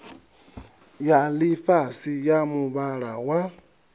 ya ḽifhasi ya muvhala wa